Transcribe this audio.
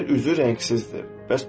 Yer üzü rəngsizdir.